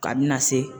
Ka bɛna se